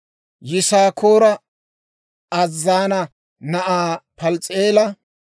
Yisaakoora Azzaana na'aa Pals's'i'eela;